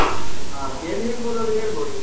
ಹ ಕೇಳಿ ಹೇಳ್ಬೊದಾದ್ರೆ ಹೆಳ್ಬೊದು.